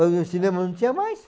Aí o cinema não tinha mais.